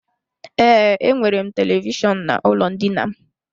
Ee, enwere m televishọnụ n'ụlọ ndina m.